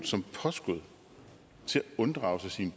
som påskud til at unddrage sig sine